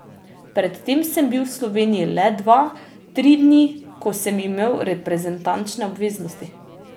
Pred tem sem bil v Sloveniji le dva, tri dni, ko sem imel reprezentančne obveznosti.